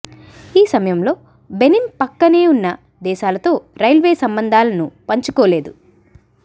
ఈ సమయంలో బెనిన్ ప్రక్కనే ఉన్న దేశాలతో రైల్వే సంబంధాలను పంచుకోలేదు